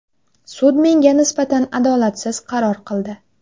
Sud menga nisbatan adolatsiz qaror qildi.